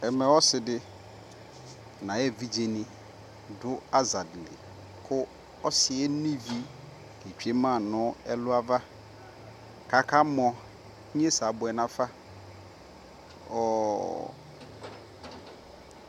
Amɛɛ ɔsidi nayeviɖʒeni duu aƶadi lii kuu ɔsiɛ eno ivi ketweema nu ɛluava kaka mɔɔ inyesɛ abuɛ nafa ɔɔɔɔɔ